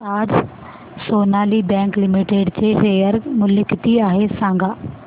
आज Sonali bank limited चे share मूल्य किती आहे सांगा